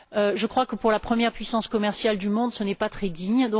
Je crois que, pour la première puissance commerciale du monde, ce n'est pas très digne.